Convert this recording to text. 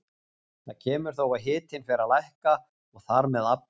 Þar kemur þó að hitinn fer að lækka og þar með aflið.